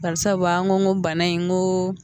Barisabu an ko ko bana in n go